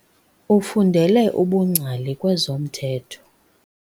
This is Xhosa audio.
Ufundele ubungcali kwezomthetho.